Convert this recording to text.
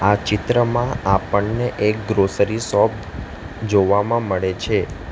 આ ચિત્રમાં આપણને એક ગ્રોસરી સોપ જોવામાં મળે છે.